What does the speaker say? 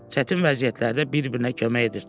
Çətin vəziyyətlərdə bir-birinə kömək edirdilər.